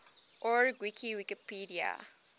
org wiki wikipedia